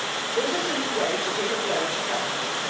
There is a simple way to deal a blow to traffickers.